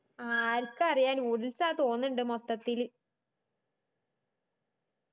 ആരിക്കറിയാ noodles ആന്ന് തോന്നുണ്ട് മൊത്തത്തില്